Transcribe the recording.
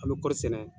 An bɛ kɔri sɛnɛ